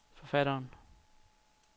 forfatteren